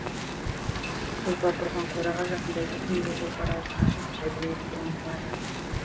тұлпар тұрған қораға жақындай бергенде тұлпар аузын ашып жебірейілге ұмтылады